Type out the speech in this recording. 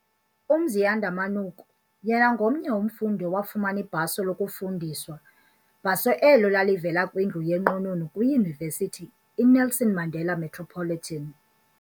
uMziyanda Manuku yena ngomnye umfundi owafumana ibhaso lokufundiswa, bhaso elo lalivela kwindlu yenqununu kwiYunivesithi iNelson Mandela Metropolitan.